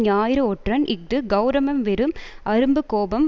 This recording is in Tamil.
ஞாயிறு ஒற்றன் இஃது கெளரவம் வெறும் அரும்பு கோபம்